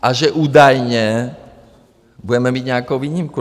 A že údajně budeme mít nějakou výjimku.